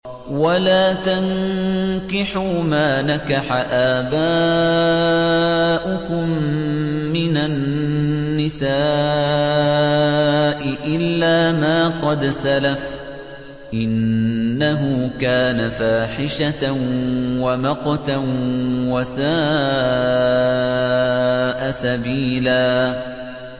وَلَا تَنكِحُوا مَا نَكَحَ آبَاؤُكُم مِّنَ النِّسَاءِ إِلَّا مَا قَدْ سَلَفَ ۚ إِنَّهُ كَانَ فَاحِشَةً وَمَقْتًا وَسَاءَ سَبِيلًا